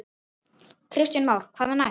Kristján Már: Hvað næst?